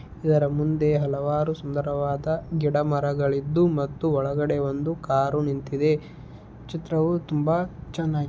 ಇದರ ಮುಂದೆ ಹಲವಾರು ಸುಂದರವಾದ ಗಿಡ ಮರಗಳು ಇದ್ದು ಮತ್ತು ಒಳಗಡೆ ಒಂದು ಕಾರು ನಿಂತಿದೆ .ಚಿತ್ರವು ತುಂಬಾ ಚೆನ್ನಾಗಿ--